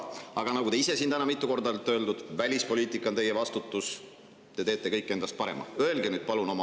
Aga nagu te ise siin täna olete mitu korda öelnud, on välispoliitika teie vastutus ja te teete kõik endast.